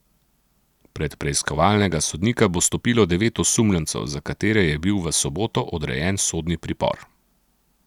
Pred preiskovalnega sodnika bo stopilo devet osumljencev, za katere je bil v soboto odrejen sodni pripor.